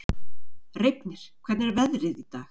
Reifnir, hvernig er veðrið í dag?